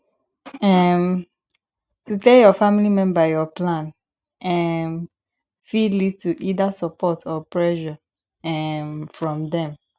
um to tell your family member your plan um fit lead to either support or pressure um from dem